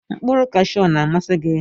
Nkpụrụ kashu ọna amasi gi?